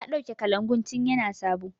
Ta ɗauke kalangun tin ya na sabo